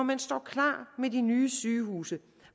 man står klar med de nye sygehuse